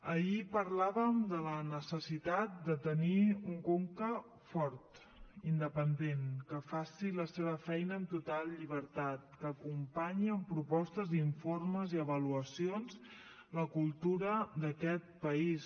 ahir parlàvem de la necessitat de tenir un conca fort independent que faci la seva feina amb total llibertat que acompanyi amb propostes informes i avaluacions la cultura d’aquest país